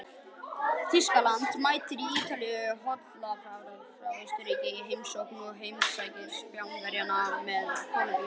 Þýskaland mætir Ítalíu, Holland fær Austurríki í heimsókn og heimsmeistarar Spánverjar mæta Kólumbíu.